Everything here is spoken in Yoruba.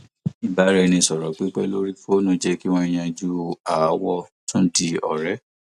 ìbáraẹnisọrọ pípẹ lórí fóònù jẹ kí wọn yanjú aáwọ tún di ọrẹ